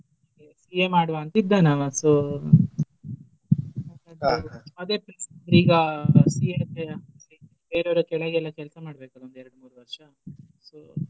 CA ಮಾಡುವ ಅಂತ ಇದ್ದಾನ ಅವ. So ಈಗ CA ಅಂದ್ರೆ ಬೇರೆ ಅವ್ರ ಕೆಳಗೆಲ್ಲ ಎಲ ಕೆಲ್ಸ ಮಾಡ್ಬೇಕು ಒಂದೆರ್ಡ್ ಮೂರ್ ವರ್ಷ so .